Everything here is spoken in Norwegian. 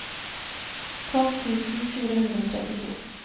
tolv tusen fire hundre og trettito